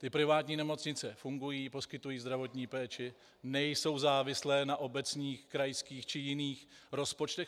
Ty privátní nemocnice fungují, poskytují zdravotní péči, nejsou závislé na obecních, krajských či jiných rozpočtech.